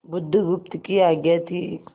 बुधगुप्त की आज्ञा थी